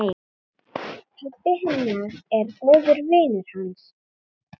Pabbi hennar er góður vinur hans.